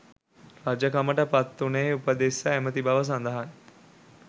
රජකමට පත්වුණේ උපතිස්ස ඇමති බව සඳහන්.